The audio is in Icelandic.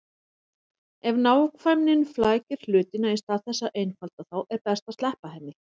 Ef nákvæmnin flækir hlutina í stað þess að einfalda þá er best að sleppa henni.